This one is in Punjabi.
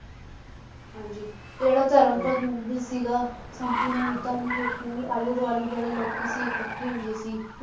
ਹਾਂਜੀ ਜਿਹੜਾ ਧਰਮ ਮੰਦਿਰ ਸੀਗਾ ਕੰਮ ਪੂਰਾ ਕੀਤਾ ਉਹਨੇ, ਜਿਸਨੂੰ ਕਿ ਆਲੇ ਦੁਆਲੇ ਜਿਹੜੇ ਲੋਕੀ ਸੀ ਇਕੱਠੇ ਹੁੰਦੇ ਸੀ